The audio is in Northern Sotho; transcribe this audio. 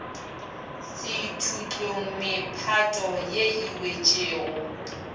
sethutlong mephato ye e wetšego